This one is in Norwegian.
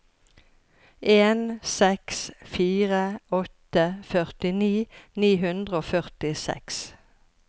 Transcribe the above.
en seks fire åtte førtini ni hundre og førtiseks